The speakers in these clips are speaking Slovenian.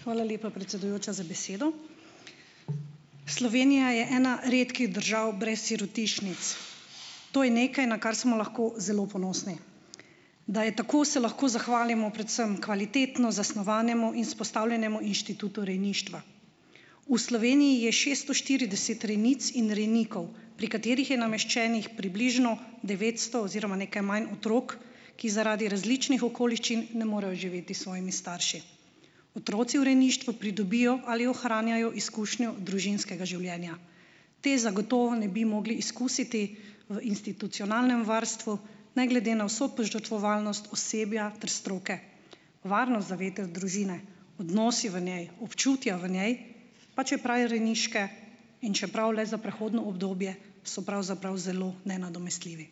Hvala lepa, predsedujoča, za besedo. Slovenija je ena redkih držav brez sirotišnic. To je nekaj, na kar smo lahko zelo ponosni. Da je tako, se lahko zahvalimo predvsem kvalitetno zasnovanemu in izpostavljenemu inštitutu rejništva. v Sloveniji je šeststo štirideset rejnic in rejnikov, pri katerih je nameščenih približno devetsto oziroma nekaj manj otrok, ki zaradi različnih okoliščin ne morejo živeti s svojimi starši. Otroci v rejništvu pridobijo ali ohranjajo izkušnjo družinskega življenja. Te zagotovo ne bi mogli izkusiti v institucionalnem varstvu, ne glede na vso požrtvovalnost osebja ter stroke. Varnost zavetja družine, odnosi v njej, občutja v njej, pa čeprav le rejniške in čeprav le za prehodno obdobje, so pravzaprav zelo nenadomestljivi.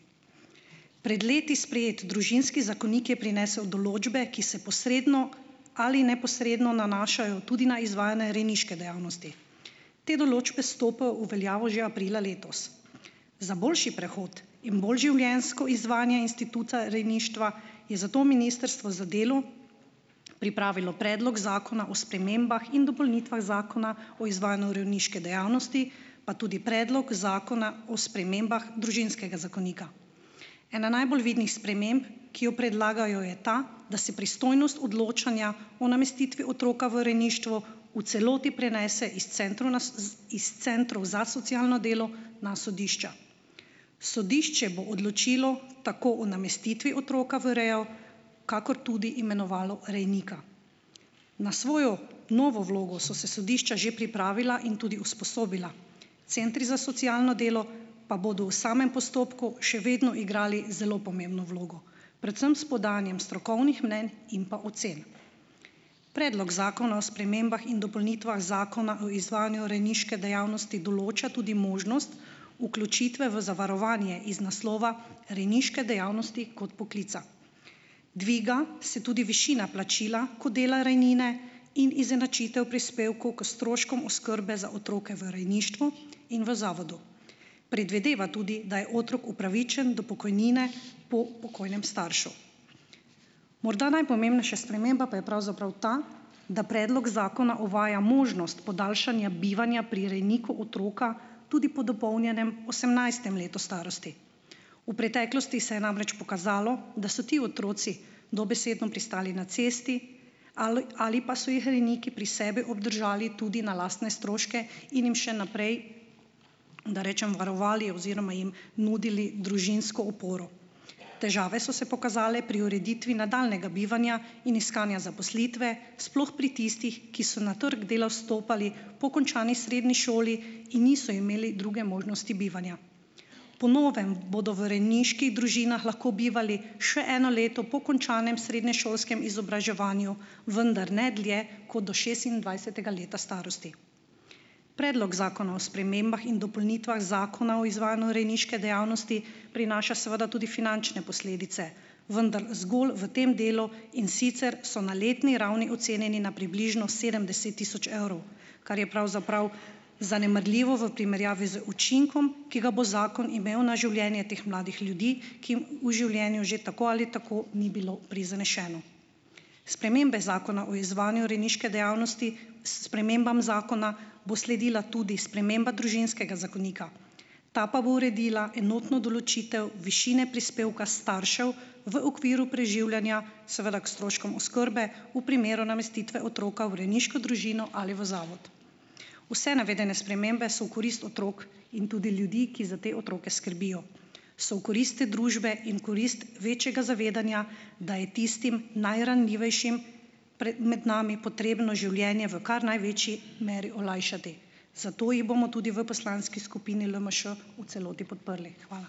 Pred leti sprejeti družinski zakonik je prinesel določbe, ki se posredno ali neposredno nanašajo tudi na izvajanje rejniške dejavnosti. Te določbe stopajo v veljavo že aprila letos. Za boljši prehod in bolj življenjsko izvajanje instituta rejništva je zato Ministrstvo za delo pripravilo predlog zakona o spremembah in dopolnitvah Zakona o izvajanju rejniške dejavnosti, pa tudi predlog zakona o spremembah družinskega zakonika. Ena najbolj vidnih sprememb, ki jo predlagajo, je ta, da se pristojnost odločanja, o namestitvi otroka v rejništvo v celoti prenese iz centrov na iz Centrov za socialno delo na sodišča. Sodišče bo odločilo tako o namestitvi otroka v rejo, kakor tudi imenovalo rejnika. Na svojo novo vlogo, so se sodišča že pripravila in tudi usposobila. Centri za socialno delo pa bodo v samem postopku še vedno igrali zelo pomembno vlogo, predvsem s podajanjem strokovnih mnenj in pa ocen. Predlog zakona o spremembah in dopolnitvah Zakona o izvajanju rejniške dejavnosti določa tudi možnost vključitve v zavarovanje iz naslova rejniške dejavnosti kot poklica. Dviga se tudi višina plačila kot dela rejnine in izenačitev prispevkov k stroškom oskrbe za otroke v rejništvu in v zavodu. Predvideva tudi, da je otrok upravičen do pokojnine po pokojnem staršu. Morda najpomembnejša sprememba pa je pravzaprav ta, da predlog zakona uvaja možnost podaljšanja bivanja pri rejniku otroka, tudi po dopolnjenem osemnajstem letu starosti. V preteklosti se je namreč pokazalo, da so ti otroci dobesedno pristali na cesti ali pa so jih rejniki pri sebi obdržali tudi na lastne stroške in jim še naprej, da rečem, varovali oziroma jim nudili družinsko oporo. Težave so se pokazale pri ureditvi nadaljnjega bivanja in iskanja zaposlitve, sploh pri tistih, ki so na trgu dela vstopali po končani srednji šoli in niso imeli druge možnosti bivanja. Po novem bodo v rejniških družinah lahko bivali še eno leto po končanem srednje šolskem izobraževanju, vendar ne dlje kot do šestindvajsetega leta starosti. Predlog zakona o spremembah in dopolnitvah Zakona o izvajanju rejniške dejavnosti prinaša seveda tudi finančne posledice, vendar zgolj v tem delu, in sicer so na letni ravni ocenjeni na približno sedemdeset tisoč evrov, kar je pravzaprav zanemarljivo v primerjavi z učinkom, ki ga bo zakon imel na življenje teh mladih ljudi, ki jim v življenju že tako ali tako ni bilo prizaneseno. Spremembe Zakona o izvajanju rejniške dejavnosti, spremembam zakona bo sledila tudi sprememba družinskega zakonika. Ta pa bo uredila enotno določitev višine prispevka staršev v okviru preživljanja, seveda ko stroškom oskrbe, v primeru namestitve otroka v rejniško družino ali v zavod. Vse navedene spremembe so v korist otrok in tudi ljudi, ki za te otroke skrbijo. So v korist te družbe in korist večjega zavedanja, da je tistim najranljivejšim pred med nami potrebno življenje v kar največji meri olajšati. Zato jih bomo tudi v poslanski skupini LMŠ v celoti podprli. Hvala.